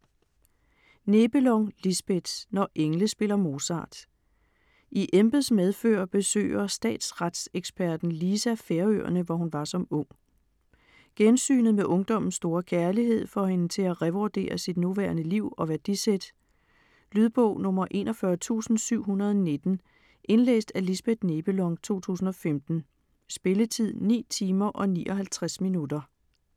Nebelong, Lisbeth: Når engle spiller Mozart I embeds medfør besøger statsretseksperten Lisa Færøerne, hvor hun var som ung. Gensynet med ungdommens store kærlighed får hende til at revurdere sit nuværende liv og værdisæt. Lydbog 41719 Indlæst af Lisbeth Nebelong, 2015. Spilletid: 9 timer, 59 minutter.